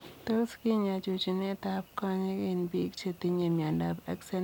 Tos kinyaa chunchunet ap konyek eng pik cheyinye miondoop Axenfeld Rieger ?